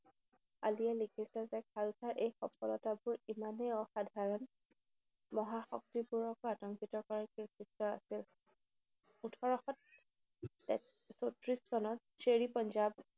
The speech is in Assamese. আলীয়ে লিখিছে যে খালছা এক সফলতাবোৰ ইমানেই অসাধাৰণ, মহাশক্তিবোৰকো আতংকিত কৰাৰ কীৰ্তিত্ত আছিল। ওঠৰশ তে চৌত্ৰিশ চনত শ্বেৰ-ই-পঞ্জাৱ